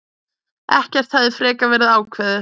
Ekkert hefði frekar verið ákveðið.